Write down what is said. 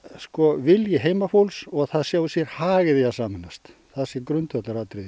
vilji heimafólks og það sjái sér hag í því að sameinast það sé grundvallaratriði í